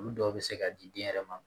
Olu dɔw bɛ se ka di den yɛrɛ ma